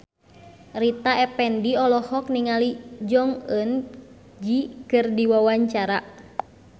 Rita Effendy olohok ningali Jong Eun Ji keur diwawancara